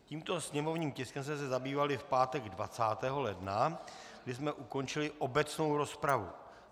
Tímto sněmovním tiskem jsme se zabývali v pátek 20. ledna, kdy jsme ukončili obecnou rozpravu.